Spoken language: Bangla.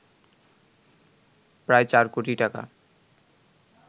প্রায় ৪ কোটি টাকা